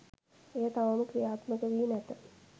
එය තවම ක්‍රියාත්මක වී නැත